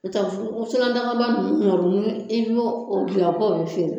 n'o tɛ wusulandagaba ninnu kɔni i b'o dilan k'o bɛ feere